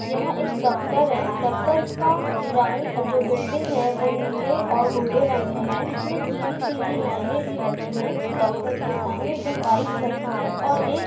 यहाँ एक दफ्तर हैदफ्तर का रंग जो बिल्डिंग है वो नीले और भूरे रंग का है इसमें पिली पिली लाइने भी लगी है दफ्तर के सामने दो बाइक खड़ी हैऔर एक --